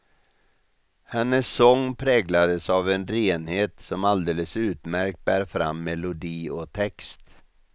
Hennes sång präglas av en renhet som alldeles utmärkt bär fram melodi och text.